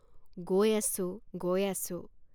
গৈ আছোঁ গৈ আছোঁ।